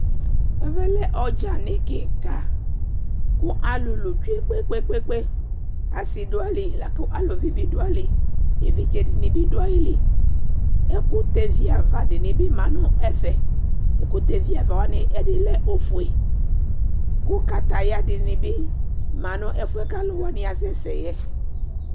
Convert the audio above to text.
Ɛvɛ lɛ ɔdzanɩ kɩka kʋ alʋlʋ tsue kpe-kpe-kpe, asɩ dʋ ayili la kʋ aluvi bɩ dʋ ayili, evidze dɩnɩ bɩ dʋ ayili Ɛkʋtɛviava dɩnɩ bɩ ma nʋ ɛfɛ Ɛkʋtɛviava wanɩ ɛdɩnɩ lɛ ofue kʋ kataya dɩnɩ bɩ ma nʋ ɛfʋ yɛ kʋ alʋ wanɩ asɛsɛ yɛ